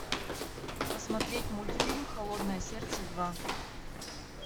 посмотреть мультфильм холодное сердце два